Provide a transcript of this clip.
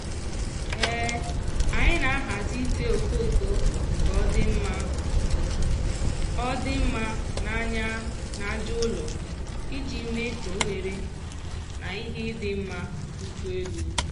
anyị na-ahazi ite okoko ka ọ dị mma ọ dị mma n'anya n'aja ụlọ iji mee ka ohere na ihe ịdị mma dikwuo elu.